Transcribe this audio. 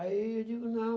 Aí eu digo, não.